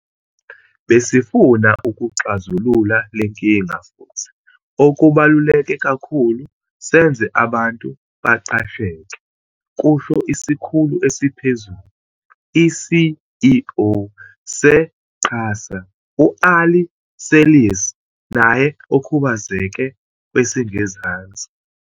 Besifuna ukuxazulula lenkinga futhi, okubaluleke kakhulu, senze abantu baqasheke," kusho Isikhulu Esiphezulu, i-CEO, se-QASA u-Ari Seirlis naye okhubazeke kwesingezansi.